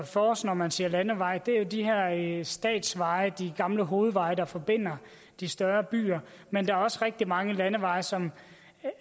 for sig når man siger en landevej er jo de her statsveje de gamle hovedveje der forbinder de større byer men der er også rigtig mange landeveje som